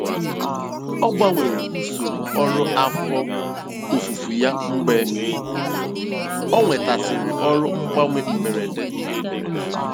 Ọ gbanwere usoro ọrụ afọ ofufo ya mgbe ọ nwetasịrị ọrụ mgbanwe mberede na mberede.